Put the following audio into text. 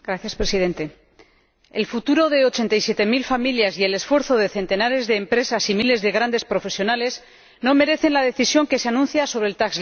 Señor Presidente, el futuro de 87000 familias y el esfuerzo de centenares de empresas y miles de grandes profesionales no merece la decisión que se anuncia sobre el